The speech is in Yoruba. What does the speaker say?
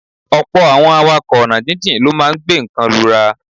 Ọ̀pọ̀ àwọn awakọ̀ ọ̀nà jíjìn ló máa ń gbé nǹkan lura.